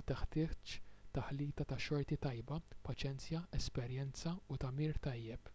u teħtieġ taħlita ta' xorti tajba paċenzja esperjenza u tagħmir tajjeb